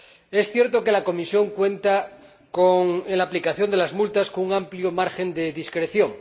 Es cierto que la Comisión cuenta, en la aplicación de las multas, con un amplio margen de discreción.